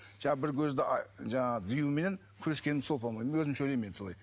жаңағы бір көзді жаңағы диюменен күрескенім сол по моему мен өзімше ойлаймын енді солай